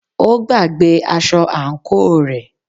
Ó gbàgbé aṣọ àǹkóò rẹ̀.